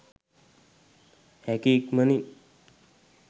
හැකි ඉක්මනින්